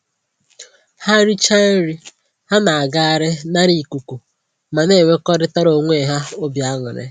Ha richa nri, ha na-agagharị nara ikuku ma na-enwekọrịtara onwe ha obi aṅụrị